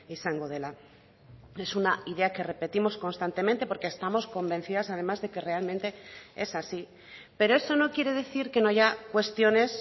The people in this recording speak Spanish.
izango dela es una idea que repetimos constantemente porque estamos convencidas además de que realmente es así pero eso no quiere decir que no haya cuestiones